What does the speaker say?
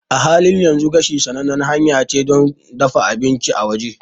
A halin yanzu, gashi sanannen hanya ce don dafa abinci a waje.